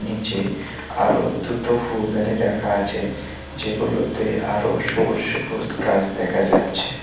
নীচে আরো দুটো ফুলদানি রাখা আছে যেগুলোতে আরো সবুজ সবুজ গাছ দেখা যাচ্ছে।